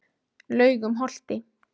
Laugum Holti